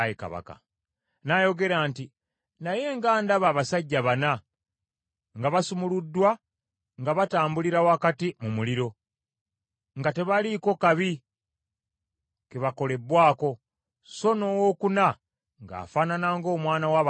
N’ayogera nti, “Naye nga ndaba abasajja bana nga basumuluddwa nga batambulira wakati mu muliro, nga tebaliiko kabi ke bakolebbwako, so n’owookuna ng’afaanana ng’omwana wa bakatonda.”